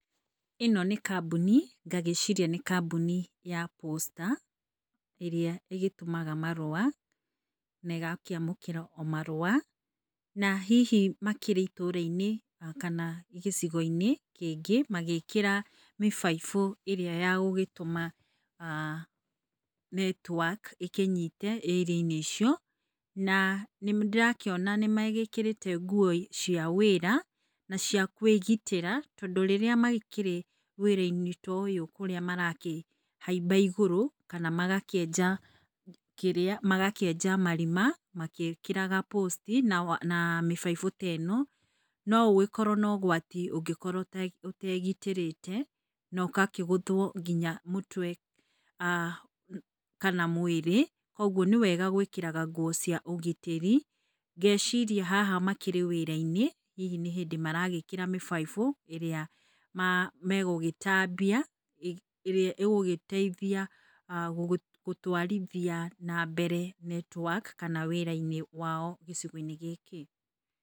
Ĩno nĩ kambuni ngagĩciria nĩ kambuni ya Posta ĩrĩa ĩgĩtũmaga marũa na ĩgakĩamũkĩra marũa na hihi makĩrĩ itũũra -inĩ kana gĩcigo inĩ kĩngĩ magĩkĩra mĩbaibũ ĩrĩa ya gũgĩtũma ah netiwaki ĩkĩnyite ĩria inĩ icio na nĩndĩrakĩona nĩmagĩkĩrĩte nguo cia wĩra na cia kwĩgitĩra tondũ, rĩrĩa makĩrĩ wĩra inĩ ta ũyũ rĩrĩa marakĩhaimba igũrũ kana magakĩenja kĩrĩa magakĩenja marima magĩkĩraga posti na mĩbaibũ ta ĩno. Nogũgĩkorwo na ũgwati ũngĩkorwo ũtegitĩrĩte na ũkakĩgũthwo nginya mũtwe ah kana mwĩrĩ. Koguo nĩ wega gwĩkĩraga nguo cia ũgitĩrii ngeciria haha makĩrĩ wĩra- inĩ hihi nĩ hĩndĩ maragĩkĩra mĩbaibũ ĩrĩa megũgĩtambia ĩrĩa ĩgĩgũteithia gũtwarithia na mbere netwaki kana wĩra inĩ wao gĩcigo inĩ gĩkĩ.